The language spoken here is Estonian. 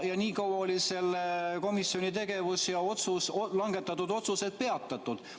Ja nii kaua oli selle komisjoni tegevus ja langetatud otsused peatatud.